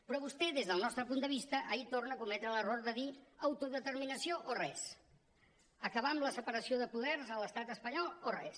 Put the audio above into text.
però vostè des del nostre punt de vista ahir torna a cometre l’error de dir autodeterminació o res acabar amb la separació de poders a l’estat espanyol o res